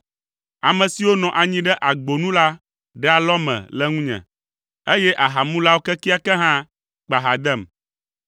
Ame siwo nɔ anyi ɖe agbo nu la ɖe alɔme le ŋunye, eye ahamulawo kekeake hã kpa ha dem.